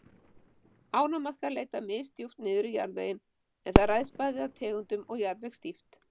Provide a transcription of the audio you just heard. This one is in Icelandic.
Ánamaðkar leita misdjúpt niður í jarðveginn en það ræðst bæði af tegundum og jarðvegsdýpt.